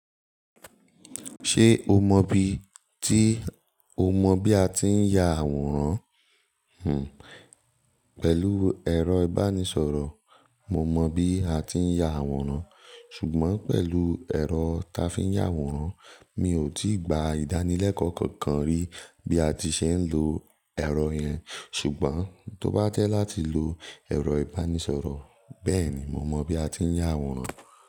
Ṣé o mọ bi, tí o mọ bi a ti ń ya àwòrán, pẹ̀lú ẹ̀rọ ìbánisọ̀rọ̀, mo mọ bí a ti ń ya àwòrán. Ṣùgbọ́n pẹ̀lú ẹ̀rọ ta fi ń ya àwòrán, mi ò tí gba ìdánilẹ́kọ̀ọ́ kankan rí bí a ti ṣe ń lo ẹ̀rọ yẹn. Ṣùgbọ́n tó bá jẹ́ láti lo ẹ̀rọ ìbánisọ̀rọ̀, bẹ́ẹ̀ ni, mo mọ bí a ti ń ya àwòrán.